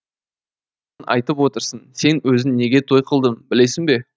айтып отырсың сен өзің неге той қылдың білесің бе